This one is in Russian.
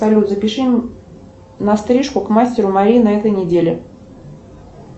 салют запиши на стрижку к мастеру марине на этой неделе